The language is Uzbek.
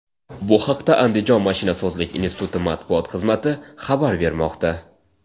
Bu haqda Andijon mashinasozlik instituti matbuot xizmati xabar bermoqda.